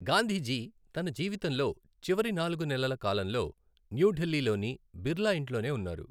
గాంధీజీ తన జీవితంలో చివరి నాలుగు నెలల కాలంలో న్యూఢిల్లీలోని బిర్లా ఇంట్లోనే ఉన్నారు.